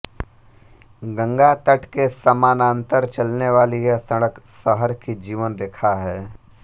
गंगा तट के समानान्तर चलने वाली यह सड़क शहर की जीवनरेखा है